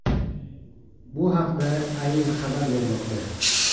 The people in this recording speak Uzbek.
Bu haqda AIN xabar bermoqda .